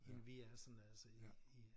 End vi er sådan altså i i